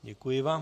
Děkuji vám.